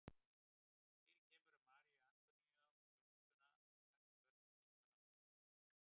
Fyrir kemur að Maríu Antoníu og þjónustuna og kannski börnin líka langar í mjólk.